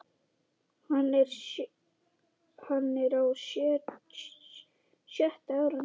Hann er á sjötta árinu.